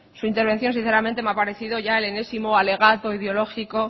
su intervención sinceramente me ha parecido ya el enésimo alegato ideológico